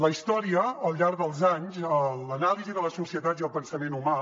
la història al llarg dels anys l’anàlisi de la societat i el pensament humà